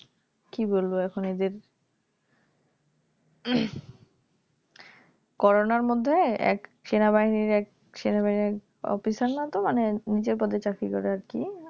কি বলবো এখন এদের করোনার মধ্যে এক সেনাবাহিনীর এক সেনাবাহিনীর এক Officer নাতো মানে নিজের পদে চাকরি করে আরকি